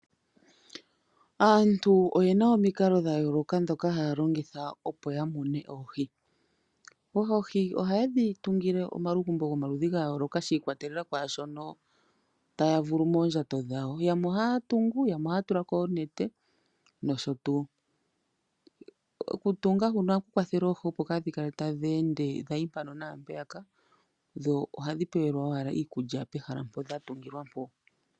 Aantu oye na omikalo dha yooloka ndhoka haya longitha opo ya mune oohi. Oohi ohaye dhi tungile omaludhi gomalugumbo ga yooloka shi ikwatelela kwaa shono taya vulu moondjato dhawo. Yamwe ohaya tungu, yamwe ohaya tula ko oonete nosho tuu. Okutunga ohaku kwathele oohi opo dhaa kale tadhi ningi dha yi mpaka dha yi mpeyaka. Ohadhi pewelwa owala iikulya pehala mpoka dha tungilwa.